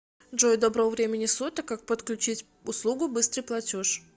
джой доброго времени суток как подключить услугу быстрый платеж